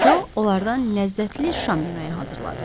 Co onlardan ləzzətli şam yeməyi hazırladı.